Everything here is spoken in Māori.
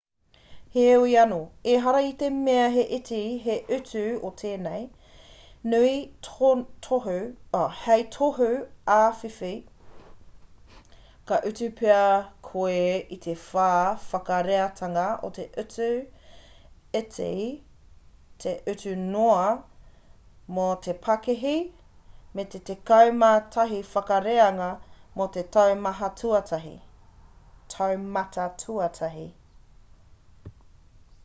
heoi anō ehara i te mea he iti te utu o tēnei hei tohu āwhiwhi ka utu pea koe i te whā whakareatanga o te utu iti te utu noa mō te pakihi me te tekau mā tahi whakareanga mō te taumata tuatahi